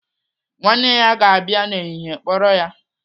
Nwanne ya ga-abịa n'ehihie kpọrọ ya.